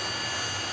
Yenə getdi.